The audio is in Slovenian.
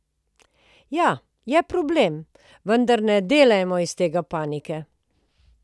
Ja, je problem, vendar ne delajmo iz tega panike ...